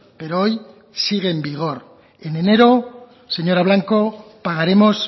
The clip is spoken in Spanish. pero hoy sigue en vigor en enero señora blanco pagaremos